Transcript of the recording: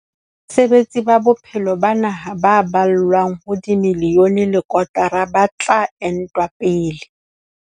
Basebetsi ba bophelo ba naha ba ballwang ho miliyone le kotara ba tla entwa pele.